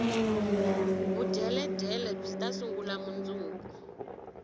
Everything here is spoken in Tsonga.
vudyeledyele byita sungula mundzuku